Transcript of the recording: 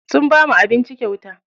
Sun bamu abinci kyauta.